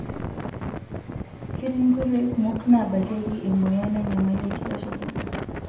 Ketii nkoitoi kumok naabakieki emoyian ennyamali enkitashoto.